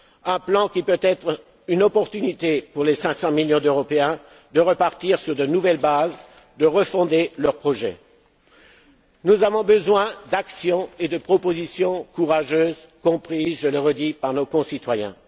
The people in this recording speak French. crise. Un plan qui puisse être une occasion pour les 500 millions d'Européens de repartir sur de nouvelles bases, de refonder leur projet. Nous avons besoin d'actions et de propositions courageuses, comprises je le redis par nos concitoyens.